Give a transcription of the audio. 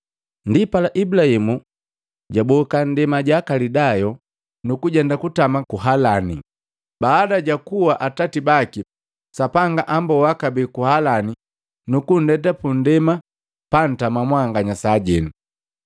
Ndipala, Ibulaimu jwaboka ndema ja Kalidayo, nukujenda kutama ku Harani. Baada ja kua atati baki, Sapanga amboa kabee ku Halani nukundeta pu ndema pantama mwanganya saajenu.